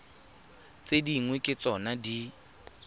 tse dingwe ke tsona di